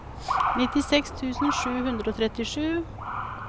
nittiseks tusen sju hundre og trettisju